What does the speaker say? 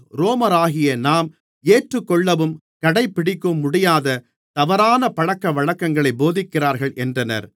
ரோமராகிய நாம் ஏற்றுக்கொள்ளவும் கடைபிடிக்கவும் முடியாத தவறான பழக்கவழக்கங்களைப் போதிக்கிறார்கள் என்றனர்